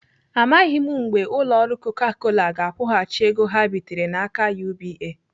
Amaghị mgbe ụlọ ọrụ Coca Cola ga-akwụghachi ego ha bitere n'aka UBA.